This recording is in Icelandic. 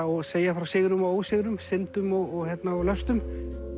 og segja frá sigrum og ósigrum syndum og löstum